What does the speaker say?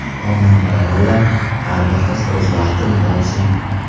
Xonanda Lola: Har bir qiz o‘z baxtini topsin.